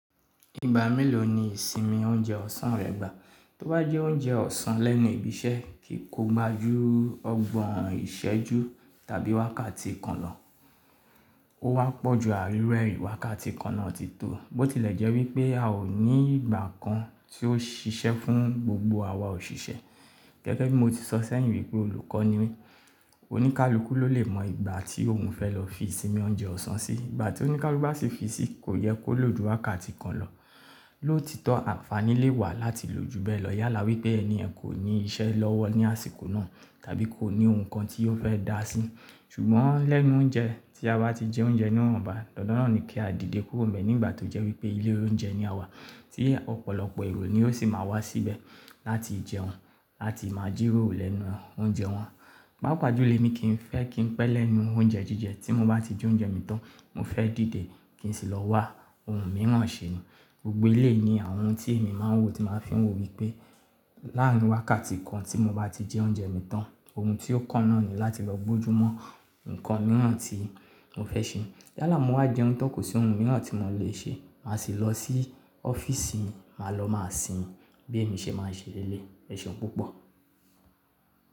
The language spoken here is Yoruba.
Ìgbà mélòó ni ìsinmi oúnjẹ ọ̀sán rẹ gbà? Tó bá jẹ oúnjẹ ọ̀sán lẹ́nu ibi iṣẹ́ kì í kó maju ọgbọ̀n ìṣẹ́jú tàbí wákàtí kan lọ. Ó wá pọ̀ ju àlúrẹ̀ẹ́ ìwákàtí kan náà ti tó. Bó ti lẹ̀ jẹ́ wípé a ò ní ìgbà kan tí ó ṣiṣẹ́ fún gbogbo àwa òṣìṣẹ́. Gẹ́gẹ́ bí mo ti sọ sẹ́yìn wípé olùkọ́ ni mí, oníkálukú ló lè mọ ìgbà tí òun fẹ́ lọ fi ìsinmi oúnjẹ ọ̀sán sí. Ìgbà tí oníkálukú bá fi sí, kò yẹ kó lò ju wákàtí kan lọ. Lóòtítọ́ àǹfàní lè wà láti lò ju bẹ́ẹ̀ lọ yálà wípé ẹni ẹ̀ kò ní iṣẹ́ lọ́wọ́ ní àsìkò náà tàbí kò ní ohun kan tí ó fẹ́ dá sí. Ṣùgbọ́n lẹ́nu oúnjẹ, tí a bá ti jẹ oúnjẹ náà bàá, dandan náà ni kí a dìde kúrò bẹ̀ nígbà tó jẹ́ wípé ilé oúnjẹ ni àwa tí ọ̀pọ̀lọpọ̀ èrò ni ó sì máa wá síbẹ̀ láti jẹun, láti máa jìròro lẹ́nu oúnjẹ wọn. Pápá julo emi kì í fẹ́ kí n pẹ́ lẹ́nu oúnjẹ jíjẹ. Tí mo bá ti jẹ oúnjẹ mi tán, mo fẹ́ dìde kí n sì lọ wá ohun mìíràn ṣe. Gbogbo ilé ni àwọn tí èmi máa ń wò ti máa fìún wò wípé láàárín wákàtí kan tí mo bá ti jẹ oúnjẹ mi tán, ohun tí ó kànnà ni láti lọ gbójú mọ́ nǹkan mìíràn tí mo fẹ́ ṣe. Yálà mo wá jẹun tán kò sí ohun mìíràn tí mò le ṣe, màá sì lọ sí ọ́fíìsì, màá lọ màá sinmi bí èmi ṣe máa ń ṣe léleyi Ẹ̀ṣeun púpọ̀.